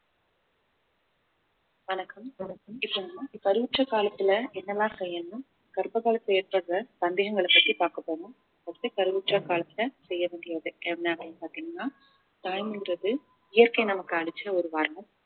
வணக்கம் வணக்கம் இப்ப நாம கருவுற்ற காலத்துல என்னெல்லாம் செய்யணும் கர்ப்ப காலத்துல ஏற்படுற சந்தேகங்களை பத்தி பாக்கப் போறோம் first உ கருவுற்ற காலத்துல செய்ய வேண்டியது என்ன அப்படின்னு பாத்தீங்கன்னா தாய்மைன்றது இயற்கை நமக்கு அளிச்ச ஒரு வரம்